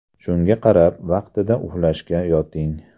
Shunga qarab, vaqtida uxlashga yoting.